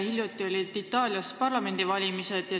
Hiljuti olid Itaalias parlamendivalimised.